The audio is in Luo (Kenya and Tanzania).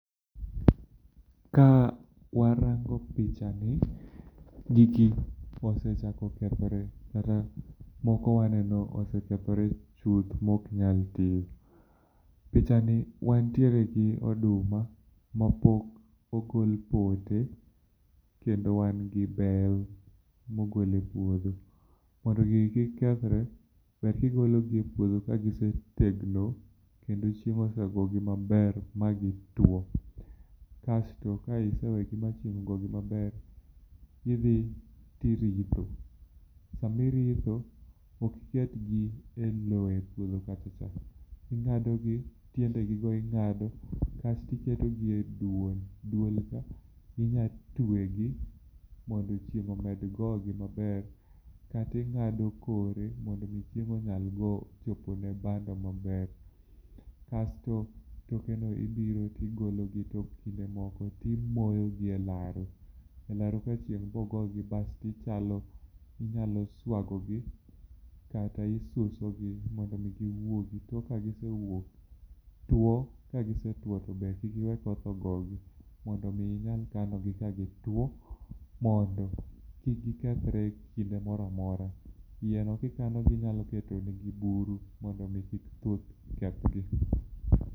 Ka warango picha ni, gigi osechako kethore kata moko waneno osekethore chuth moknyal tio. Picha ni wantiere gi oduma ma pok ogol pote kendo wangi bel mogol e puodho. Mondo gigi kik kethre, ber kigologi e puodho kagise tegno, kendo chieng' osegogi maber magi two. Kasto kaise wegi ma chieng' ogogi maber, tidhi tiritho. Sami ritho, okiketgi e lowo e puodho kachacha. Ing'adogi tiende gigo ing'ado kastiketigi e duol. Duol ka inyatwegi mondo chieng' omed gogi maber, kating'ado kore mondo mi chieng' onyal go chopone bando maber. Kasto tokeno ibiro tigologi tok kinde moko timoyogi e laro. E laroka chieng' bogogi, basti chalo inyalo swagogi kata isusogi mondo mi giwuogi. Tok ka gise wuok, two kagisetwo to be kik iwe koth ogogi, mondo mii inyal kanogi ka gitwo mondo kik gikethre e kinde moramora. Iyeno kikanogi inyalo keto negi buru mondo mi kik thuth kethgi.